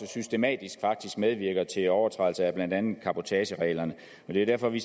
systematisk medvirker til overtrædelse af blandt andet cabotagereglerne det er derfor vi